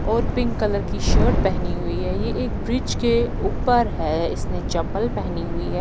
और pink colour की shirt पहनी हुई है यह एक ब्रिज के ऊपर है इसने चप्पल पहनी हुई है।